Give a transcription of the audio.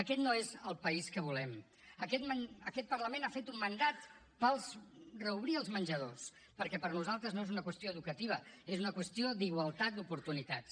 aquest no és el país que volem aquest parlament ha fet un mandat per reobrir els menjadors perquè per nosaltres no és una qüestió educativa és una qüestió d’igualtat d’oportunitats